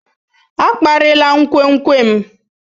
A kparịla nkwenkwe m.